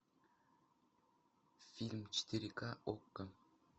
фильм четыре ка окко